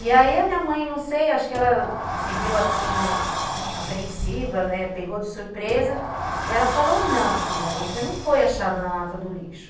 E aí a minha mãe, não sei, acho que ela se viu, assim, apreensiva, né, pegou de surpresa, e ela falou, não, filha, você não foi achada na lata do lixo.